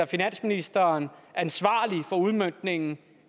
finansministeren ansvarlig for udmøntningen